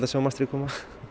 sjá mastrið koma